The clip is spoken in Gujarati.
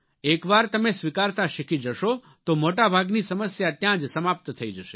એક વાર તમે સ્વીકારતા શીખી જશો તો મોટા ભાગની સમસ્યા ત્યાં જ સમાપ્ત થઇ જશે